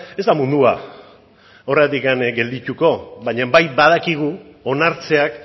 ez da mundua horregatik geldituko baino bai badakigu onartzeak